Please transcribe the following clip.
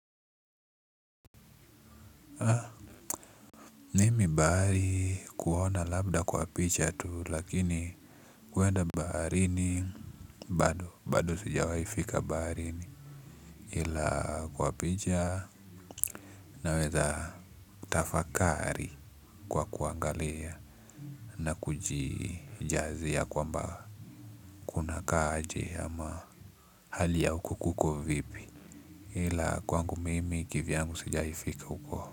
Mimi bahari kuona labda kwa picha tu lakini kuenda baharini bado bado sijawaifika barini ila kwa picha naweza tafakari kwa kuangalia na kujijazia kwamba kunakaa aje ama hali ya huko kuko vipi ila kwangu mimi kivyangu sijawahi fika huko.